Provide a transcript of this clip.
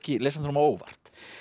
lesandanum á óvart